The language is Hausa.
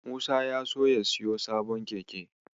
Musa ya so ya siyo sabon keke.